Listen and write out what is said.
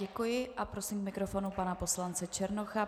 Děkuji a prosím k mikrofonu pana poslance Černocha.